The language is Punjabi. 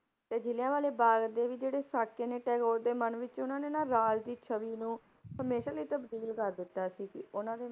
ਤੇ ਜ਼ਿਲਿਆ ਵਾਲੇ ਬਾਗ਼ ਦੇ ਵੀ ਜਿਹੜੇ ਸਾਕੇ ਨੇ ਟੈਗੋਰ ਦੇ ਮਨ ਵਿੱਚ ਉਹਨਾਂ ਨੇ ਨਾ ਰਾਜ ਦੀ ਛਵੀ ਨੂੰ ਹਮੇਸ਼ਾ ਲਈ ਤਬਦੀਲ ਕਰ ਦਿੱਤਾ ਸੀ ਕਿ ਉਹਨਾਂ ਦੇ